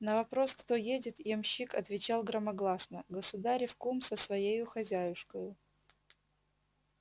на вопрос кто едет ямщик отвечал громогласно государев кум со своею хозяюшкою